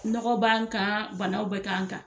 Nɔgɔ b'an kan, banaw bɛ ka kan.